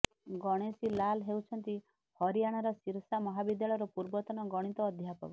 ଗଣେଶୀ ଲାଲ୍ ହେଉଛନ୍ତି ହରିୟାଣାର ସିରସା ମହାବିଦ୍ୟାଳୟର ପୂର୍ବତନ ଗଣିତ ଅଧ୍ୟାପକ